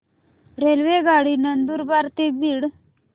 रेल्वेगाडी नंदुरबार ते बीड